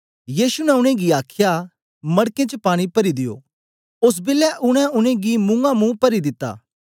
यीशु ने उनेंगी आखया मड़कें च पानी परी दियो ओस बेलै उनै उनेंगी मुआंमुं परी दित्ता